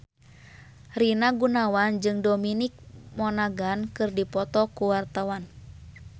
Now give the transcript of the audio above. Rina Gunawan jeung Dominic Monaghan keur dipoto ku wartawan